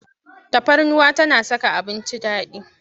Tafarnuwa tana saka abinci daɗi.